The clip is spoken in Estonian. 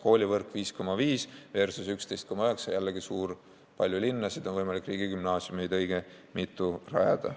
Koolivõrk: 5,5% versus 11,9%, jällegi suur summa, palju linnasid, on võimalik õige mitu riigigümnaasiumit rajada.